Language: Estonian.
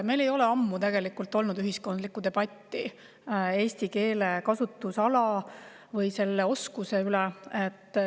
Meil ei ole ammu olnud ühiskondlikku debatti eesti keele kasutusala või selle oskuse üle.